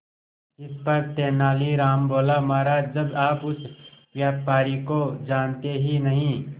इस पर तेनालीराम बोला महाराज जब आप उस व्यापारी को जानते ही नहीं